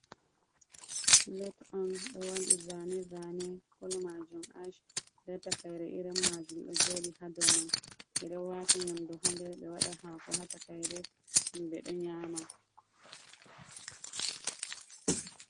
Pilet on ɓe waɗi zane zane kulo majum ash, nda takaire kolo majum ɗo joɗi hadoman, ɓeɗo wata nyamdu hader ɓe waɗa hako ha takaire himɓe ɗo nyama.